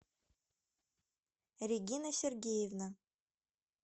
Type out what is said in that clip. регина сергеевна